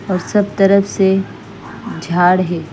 और सब तरफ से झाड़ है।